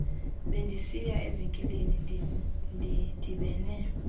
bendisiya evenkileni ndidibene